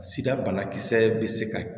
Sida banakisɛ bɛ se ka